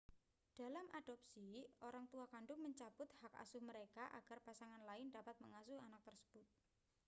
dalam adopsi orang tua kandung mencabut hak asuh mereka agar pasangan lain dapat mengasuh anak tersebut